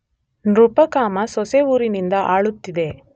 ನೃಪಕಾಮ ಸೊಸವೂರಿನಿಂದ ಆಳುತ್ತಿದ್ದ.